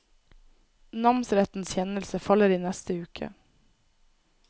Namsrettens kjennelse faller i neste uke.